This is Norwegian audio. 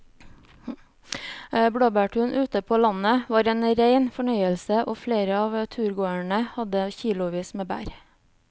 Blåbærturen ute på landet var en rein fornøyelse og flere av turgåerene hadde kilosvis med bær.